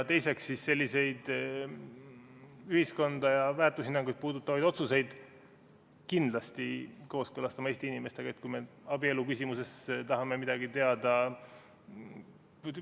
Teiseks, selliseid ühiskonda ja väärtushinnanguid puudutavaid otsuseid peaksime kindlasti kooskõlastama Eesti inimestega, ütleme, kui me abielu küsimuses tahame midagi teada.